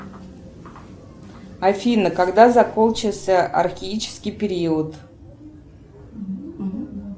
афина когда закончился архаический период